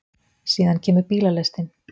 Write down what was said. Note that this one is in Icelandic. Síðan kemur bílalestin.